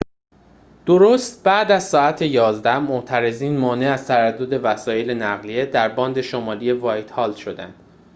درست بعد از ساعت ۱۱:۰۰ معترضین مانع از تردد وسایل نقلیه در باند شمالی وایتهال شدند